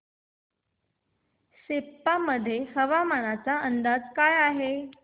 सेप्पा मध्ये हवामानाचा काय अंदाज आहे